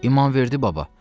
İmamverdi baba.